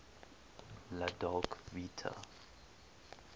la dolce vita